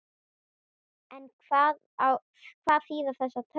En hvað þýða þessar tölur?